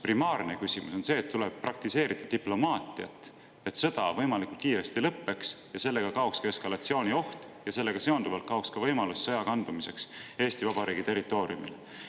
Primaarne küsimus on see, et tuleb praktiseerida diplomaatiat, et sõda võimalikult kiiresti lõppeks, sellega kaoks ka eskalatsioonioht ja sellega seonduvalt kaoks ka võimalus sõja kandumiseks Eesti Vabariigi territooriumile.